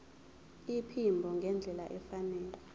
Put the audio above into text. iphimbo ngendlela efanele